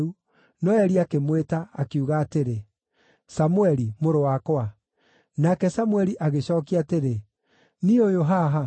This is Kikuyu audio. no Eli akĩmwĩta, akiuga atĩrĩ, “Samũeli, mũrũ wakwa.” Nake Samũeli agĩcookia atĩrĩ, “Niĩ ũyũ haha.”